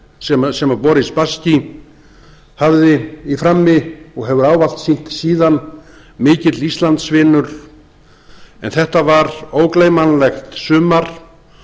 drengskapar sem boris spasskí hafði frammi og hefur ávallt sýnt síðan mikill íslandsvinur en þetta var ógleymanlegt sumar